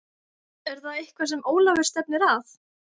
Er það eitthvað sem Ólafur stefnir að?